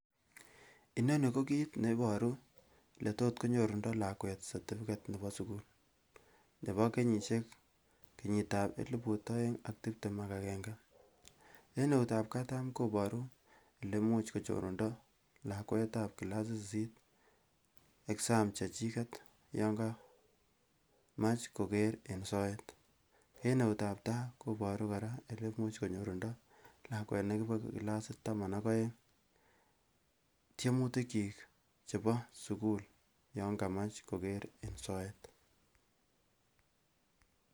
Inoni ko kiit neboru eletotkonnyorundo lakwet certificate nebo sukul nebo kenyisiek kenyit ab eliput oeng ak tiptem ak egenge en eutab katam koburu elemuch kochorundo lakwetab clasit sisit exam chechiket yan kamach koker eng soet en eutab taa koboru kora elemuch konyorundo lakwet nebo clasit taman ak oeng tyemutik kyik chebo sukul yan kamach koker en soet